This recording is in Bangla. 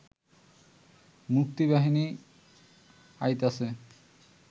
মুক্তিবাহিনী আইতাছে